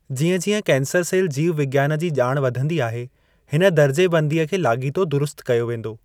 जिअं-जिअं cancer cell जीव विज्ञानु जी ॼाण वधंदी आहे, हिन दर्जे बंदीअ खे लाॻितो दुरुस्त कयो वेंदो।